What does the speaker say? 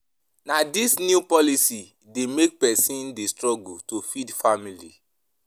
Na dese new policies dey make pesin dey struggle to feed family.